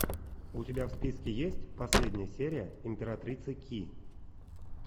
у тебя в списке есть последняя серия императрица ки